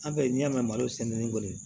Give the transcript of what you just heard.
An bɛ n'i y'a mɛn malo sɛnɛnin kɔni ye